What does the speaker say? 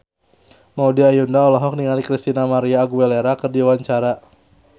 Maudy Ayunda olohok ningali Christina María Aguilera keur diwawancara